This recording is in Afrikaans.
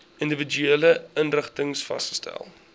individuele inrigtings vasgestel